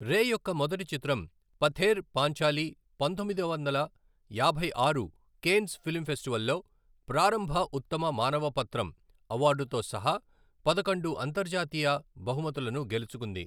రే యొక్క మొదటి చిత్రం, పథేర్ పాంచాలి పంతొమ్మిది వందల యాభై ఆరు కేన్స్ ఫిల్మ్ ఫెస్టివల్లో ప్రారంభ ఉత్తమ మానవ పత్రం అవార్డుతో సహా, పదకొండు అంతర్జాతీయ బహుమతులను గెలుచుకుంది.